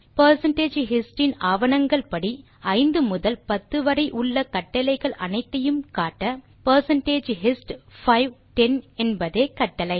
percentage hist இன் ஆவணங்கள் படி 5 முதல் 10 வரை உள்ள கட்டளைகள் அனைத்தையும் காட்ட பெர்சென்டேஜ் ஹிஸ்ட் 5 10 என்பதே கட்டளை